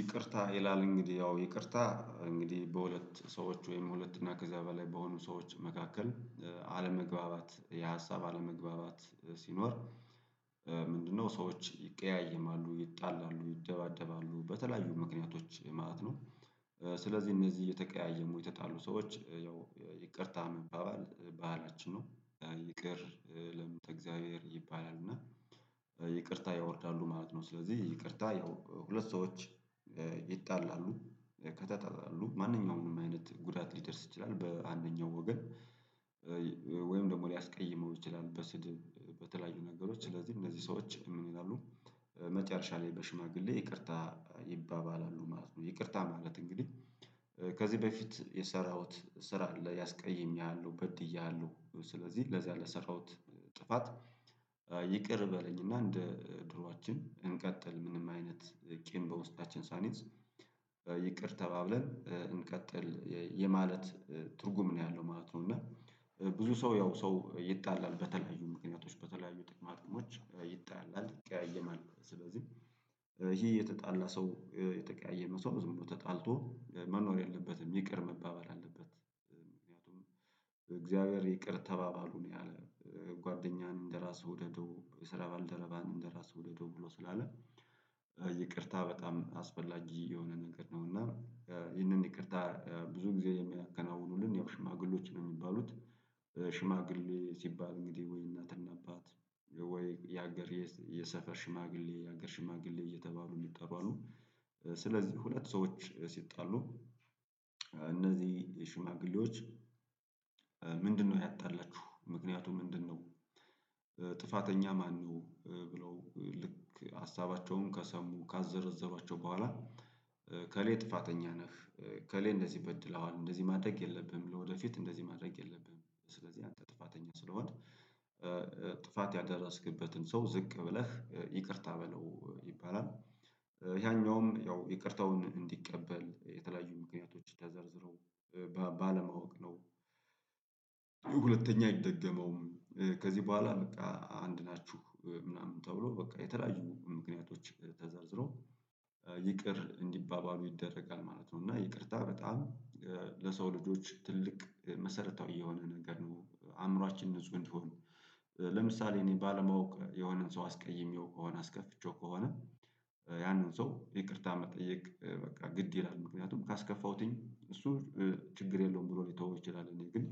ይቅርታ ይላል እንግዲህ ያው ይቅርታ እንግዲህ በሁለት ሰዎች ወይም ሁለት እና ከዚያ በላይ በሆኑ ሰዎች መካከል አለመግባባት የሀሳብ አለመግባባት ሲኖር ምንድነው ሰዎች ይቀያየማሉ ይጣላሉ ይደባደባሉ በተለያዩ ምክንያቶች ማለት ነው። ስለዚህ እነዚህ የተቀያየሙ የተጣሉ ሰዎች ያው ይቅርታ መባባል ባህላችን ነው ይቅር ለምን ተእግዚአብሔር ይባላል እና። ይቅርታ ያወርዳሉ ማለት ነው ስለዚህ ይቅርታ ያው ሁለት ሰዎች። ይጣላሉ ከተጠላሉ ማንኛውም አይነት ጉዳት ሊደርስ ይችላል በአንደኛው ወገን። ወይም ደግሞ ሊያስቀይመው ይችላል በስድብ በተለያዩ ነገሮች ስለዚህ እነዚህ ሰዎች ምን ይላሉ? መጨረሻ ላይ በሽማግሌ ይቅርታ ይባባላሉ ማለት ነው። ይቅርታ ማለት እንግዲህ። ከዚህ በፊት የሰራሁት ስራ ላይ አስቀይሜሃለሁ በድዬሃለሁ ስለዚህ ለዛ ለሰራሁት ጥፋት ይቅር በለኝና እንደ ድሮኣችን እንቀጥል ምንም አይነት ቄም በውስጣችን ሳንይዝ። ይቅር ተባብለን እንቀጥል የማለት ትርጉም ነው ያለው ማለት ነው። እና ብዙ ሰው ያው ሰው ይጣላል በተለያዩ ምክንያቶች በተለያዩ ጥቅማ ጥቅሞች ይጣላል ይቀያየማል ስለዚህ። ይሄ የተጣላ ሰው የተቀያየመ ሰው ዝም ብሎ ተጣልቶ መኖር የለበትም ይቅር መባባል አለበት። ምክንያቱም እግዚአብሔር ይቅር ተባባሉ ነው ያለ። ጓደኛህን እንደራስህ ውደደው የስራ ባልደረባህን እንደራስህ ውደደው ብሎ ስላለ። ይቅርታ በጣም አስፈላጊ የሆነ ነገር ነው እና። ይህንን ይቅርታ ብዙ ጊዜ የሚያከናውኑልን ያው ሽማግሌዎች ነው የሚባሉት። ሽማግሌ ሲባል እንግዲህ ወይ እናትና አባት ወይ የሀገር የሰፈር ሽማግሌ የሀገር ሽማግሌ እየተባሉ እሚጠሩ አሉ። ስለዚህ ሁለት ሰዎች ሲጣሉ እነዚህ ሽማግሌዎች። ምንድነው ያጣላችሁ ምክንያቱ ምንድነው? ጥፋተኛ ማነው ብለው ልክ ሀሳባቸውን ከሰሙ ካዘረዘሯቸው በኋላ። ከሌ ጥፋተኛ ነህ። ከሌ እንደዚህ በድለዋል እንደዚህ ማድረግ የለብህም ለወደፊት እንደዚህ ማድረግ የለብህም። ስለዚህ አንተ ጥፋተኛ ስለሆንክ። ጥፋት ያደረስክበትን ሰው ዝቅ ብለህ ይቅርታ በለው ይባላል። ያኛውም ያው ይቅርታውን እንዲቀበል የተለያዩ ምክንያቶች ተዘርዝረው ባለማወቅ ነው። ሁለተኛ አይደገመውም። ከዚህ በኋላ በቃ አንድ ናችሁ ምናምን ተብሎ በቃ የተለያዩ ምክንያቶች ተዘርዝሮ። ይቅር እንዲባባሉ ይደረጋል ማለት ነው። እና ይቅርታ በጣም ለሰው ልጆች ትልቅ መሰረታዊ የሆነ ነገር ነው አዕምሯችን ንጹህ እንዲሆን። ለምሳሌ እኔ ባለማወቅ የሆነን ሰው አስቀይሜው ከሆነ አስከፍቼው ከሆነ። ያንን ሰው ይቅርታ መጠየቅ በቃ ግድ ይላል ምክንያቱም ካስከፋሁትኝ እሱ ችግር የለውም ብሎ ሊተወው ይችላል ግን።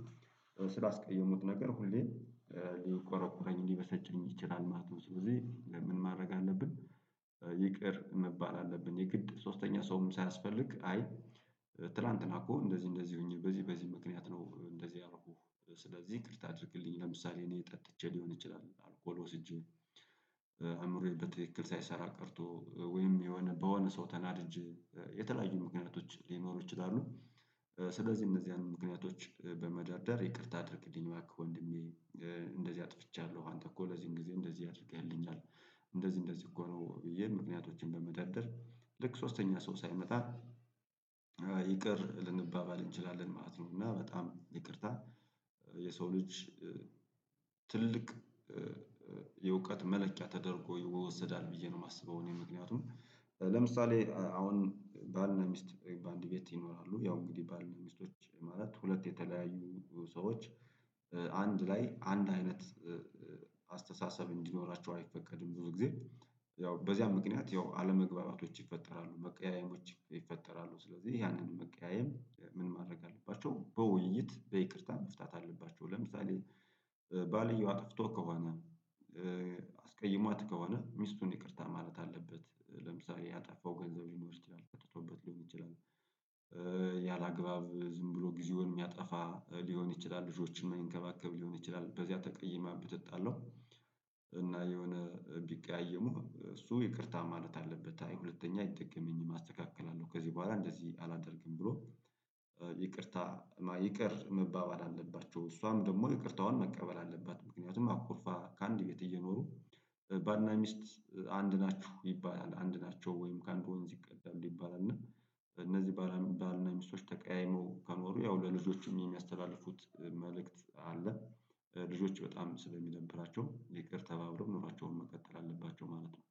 ስላስቀየሙት ነገር ሁሌም ሊቆረቁረኝ ሊበሰጨኝ ይችላል ማለት ነው። ስለዚህ ምን ማድረግ አለብን? ይቅር መባል አለብን የግድ ሶስተኛ ሰውም ሳያስፈልግ አይ። ትላንትና እኮ እንደዚህ እንደዚህ ሆኜ በዚህ በዚህ ምክንያት ነው እንደዚህ ያደረኩህ። ስለዚህ ይቅርታ አድርግልኝ ለምሳሌ እኔ ጠጥቼ ሊሆን ይችላል አልኮል ወስጄ አእምሮዬ በትክክል ሳይሰራ ቀርቶ ወይም የሆነ በሆነ ሰው ተናድጄ የተለያዩ ምክንያቶች ሊኖሩ ይችላሉ። ስለዚህ እነዚህን ምክንያቶች በመደርደር ይቅርታ አድርግልኝ። እንደዚህ አጥፍቻለሁ አንተ እኮ ለዚህን ጊዜ እንደዚህ አድርገህልኛል። እንደዚህ እንደዚህ እኮ ነው ብዬ ምክንያቶችን በመደርደር ልክ ሶስተኛ ሰው ሳይመጣ። ይቅር ልንባባል እንችላለን ማለት ነው። እና በጣም ይቅርታ። የሰው ልጅ ትልቅ የእውቀት መለኪያ ተደርጎ ይወሰዳል ብዬ ነው እማስበው። እኔ ምክንያቱም ለምሳሌ አሁን ባልና ሚስት በአንድ ቤት ይኖራሉ ያው እንግዲህ ባል ሚስቶች ማለት ሁለት የተለያዩ ሰዎች። አንድ ላይ አንድ አይነት አስተሳሰብ እንዲኖራቸው አይፈቀድም ብዙ ጊዜ። ያው በዚያ ምክንያት ያው አለመግባባቶች ይፈጠራሉ መቀያየሞች ይፈጠራሉ። ስለዚህ ያንን መቀያየም ምን ማድረግ አለባቸው በውይይት በይቅርታ መፍታት አለባቸው። ለምሳሌ። ባልየው አጥፍቶ ከሆነ። አስቀይሟት ከሆነ ሚስቱን ይቅርታ ማለት አለበት ለምሳሌ ያጠፋው ገንዘብ ሊሆን ይችላል ጠጥቶበት ሊሆን ይችላል። ያለአግባብ ዝም ብሎ ጊዜውን የሚያጠፋ ሊሆን ይችላል ልጆችን እማይንከባከብ ሊሆን ይችላል በዚያ ተቀይማ ብትጣላው። እና የሆነ ቢቀያየሙ እሱ ይቅርታ ማለት አለበት ሁለተኛ አይደገመኝም አስተካክላለሁ ከዚህ በኋላ እንደዚህ አላደርግም ብሎ። ይቅርታ ይቅር መባባል አለባቸው። እሷም ደግሞ ይቅርታዋን መቀበል አለባት። ምክንያቱም አኩርፋ ከአንድ ቤት እየኖሩ። ባልና ሚስት አንድ ናችሁ ይባላል አንድ ናቸው ወይም ከአንድ ወንዝ ይቀዳሉ ይባላል እና። እነዚህ ባልና ሚስቶች ተቀያይመው ከኖሩ ያው ለልጆቹም የሚያስተላልፉት መልእክት አለ። ልጆች በጣም ስለሚደብራቸው ይቅር ተባብለው ኑሯቸውን መቀጠል አለባቸው ማለት ነው